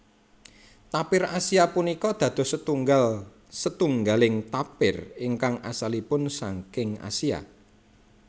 Tapir Asia punika dados setunggal setunggaling tapir ingkang asalipun saking Asia